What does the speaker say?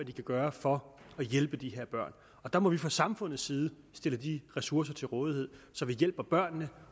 den kan gøre for at hjælpe de her børn der må vi fra samfundets side stille de ressourcer til rådighed så vi hjælper børnene